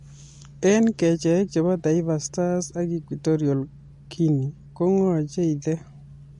En kecheik chebo Taifa stars ak Equitorial Guinea kong'o che itee?